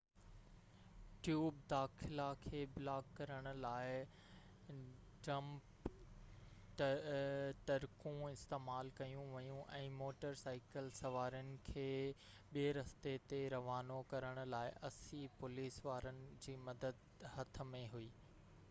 tube داخلا کي block ڪرڻ لاءِ ڊمپ ٽرڪون استعمال ڪيون ويون ۽ موٽر سائيڪل سوارن کي ٻئي رستي تي روانو ڪرڻ لاءِ 80 پوليس وارن جي مدد هٿ ۾ هئي